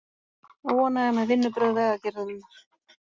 Óánægja með vinnubrögð Vegagerðarinnar